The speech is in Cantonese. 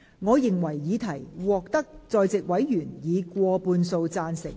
我認為議題獲得在席委員以過半數贊成。